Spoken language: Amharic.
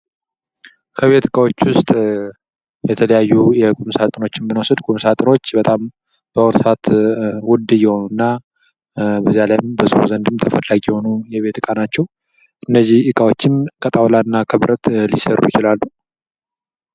ከቤት እቃዎች ውስጥ የተለያዩ የቁም ሳጥኖችን ብንወስድ ቁም ሳጥኖች በጣም በአሁኑ ሰአት ውድ እየሆኑና በዛ ላይም በሰው ዘንድም ተፈላጊ የሆኑ የቤት እቃ ናቸው። እነዚህ እቃዎችም ከጣውላና ከብረት ሊሰሩ ይችላሉ።